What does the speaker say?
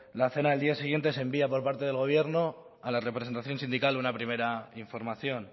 la cena del día siguiente se envía por parte del gobierno a la representación sindical una primera información